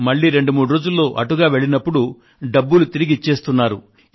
మళ్ళీ రెండు మూడు రోజుల్లో అటుగా వెళ్ళినప్పుడు డబ్బులు తిరిగి ఇచ్చేస్తున్నారు